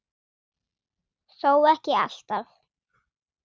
Þó ekki alltaf.